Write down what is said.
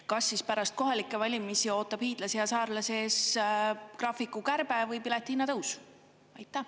Kas siis pärast kohalikke valimisi ootab hiidlasi ja saarlasi ees graafiku kärbe või piletihinna tõus?